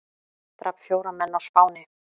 Drap fjóra menn á Spáni